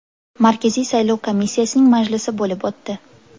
Markaziy saylov komissiyasining majlisi bo‘lib o‘tdi.